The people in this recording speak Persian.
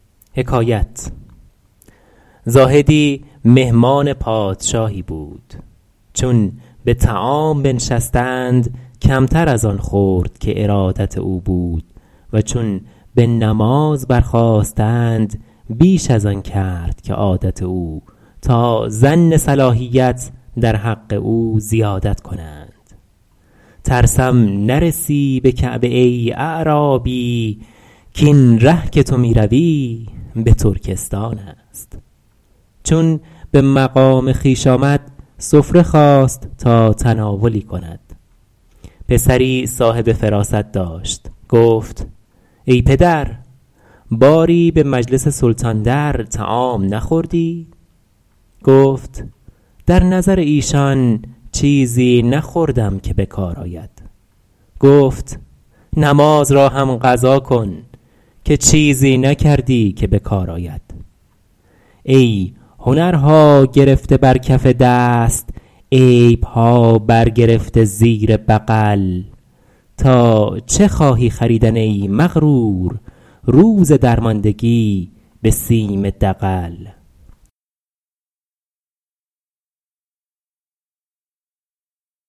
زاهدی مهمان پادشاهی بود چون به طعام بنشستند کمتر از آن خورد که ارادت او بود و چون به نماز برخاستند بیش از آن کرد که عادت او تا ظن صلاحیت در حق او زیادت کنند ترسم نرسی به کعبه ای اعرابی کاین ره که تو می روی به ترکستان است چون به مقام خویش آمد سفره خواست تا تناولی کند پسری صاحب فراست داشت گفت ای پدر باری به مجلس سلطان در طعام نخوردی گفت در نظر ایشان چیزی نخوردم که به کار آید گفت نماز را هم قضا کن که چیزی نکردی که به کار آید ای هنرها گرفته بر کف دست عیبها بر گرفته زیر بغل تا چه خواهی خریدن ای مغرور روز درماندگی به سیم دغل